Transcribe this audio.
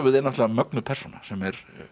náttúrulega mögnuð persóna sem er